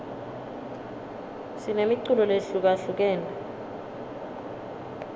sinemiculo lehlukahlukene